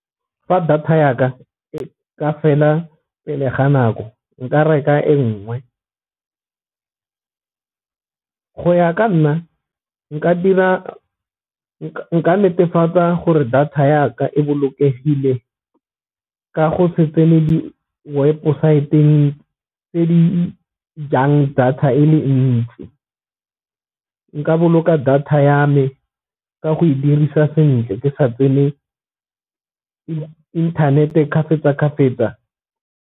Fa data ya ka e ka fela pele ga nako nka reka e nngwe, go ya ka nna nka dira nka netefatsa gore data ya ka e bolokegile ka go se tsene di-website-ng tse di jang data e le ntsi, nka boloka data ya me ka go e dirisa sentle ke sa tsene internet-e .